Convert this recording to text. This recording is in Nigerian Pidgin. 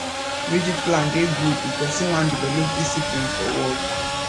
rigid plan dey good if person wan develop discipline for work